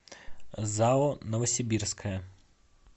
зао новосибирская